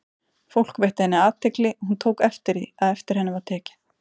Fólk veitti henni athygli, og hún tók eftir því, að eftir henni var tekið.